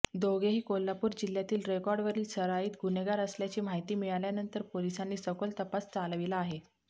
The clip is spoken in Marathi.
दोघेही कोल्हापूर जिल्ह्यातील रेकॉर्डवरील सराईत गुन्हेगार असल्याची माहिती मिळाल्यानंतर पोलिसांनी सखोल तपास चालविला आहे